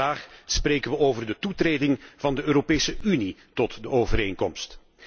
Vandaag spreken we over de toetreding van de Europese Unie tot de overeenkomst.